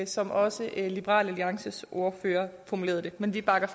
som også liberal alliances ordfører formulerede det men vi bakker